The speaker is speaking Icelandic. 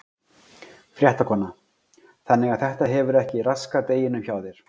Fréttakona: Þannig að þetta hefur ekki raskað deginum hjá þér?